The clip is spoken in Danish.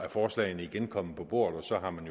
forslagene igen er kommet på bordet og så har man